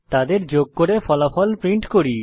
তাদের যোগ করে ফলাফল প্রিন্ট করি